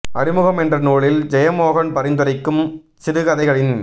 அறிமுகம் என்ற நூலில் ஜெயமோகன்பரிந்துரைக்கும் சிறுகதைகளின்